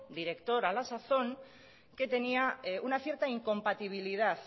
director a la sazón que tenía una cierta incompatibilidad